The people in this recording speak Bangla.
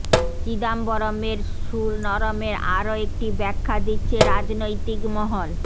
চিদম্বরমের সুর নরমের আরও একটি ব্যাখ্যা দিচ্ছে রাজনৈতিক মহল